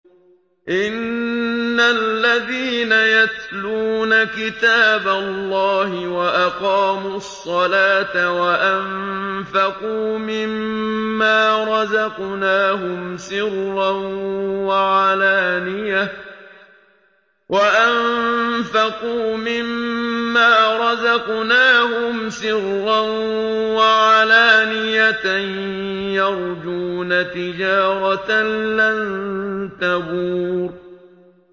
إِنَّ الَّذِينَ يَتْلُونَ كِتَابَ اللَّهِ وَأَقَامُوا الصَّلَاةَ وَأَنفَقُوا مِمَّا رَزَقْنَاهُمْ سِرًّا وَعَلَانِيَةً يَرْجُونَ تِجَارَةً لَّن تَبُورَ